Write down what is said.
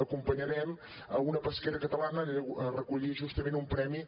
acompanyarem una pesquera catalana a recollir justament un premi